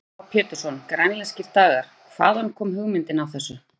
Heimir Már Pétursson: Grænlenskir dagar, hvaðan kom hugmyndin af þessu?